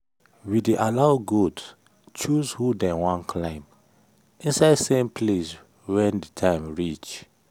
we dey allow goat choose who dem wan climb inside same place when the time reach.